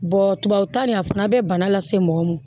tubabukan nin a fana bɛ bana lase mɔgɔ ma